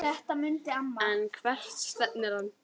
En hvert stefnir hann?